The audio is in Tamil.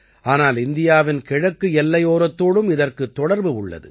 ஆனால் இந்தியாவின் கிழக்கு எல்லையோரத்தோடும் இதற்குத் தொடர்பு உள்ளது